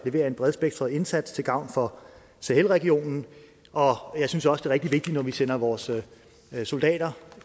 en bredspektret indsats til gavn for sahelregionen jeg synes også rigtig vigtigt når vi sender vores soldater